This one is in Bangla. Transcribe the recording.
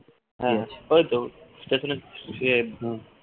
হ্যাঁ ওইতো station এ ফিরে